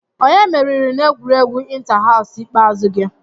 Onye meriri n'egwuregwu inta-haws ikpeazụ gị?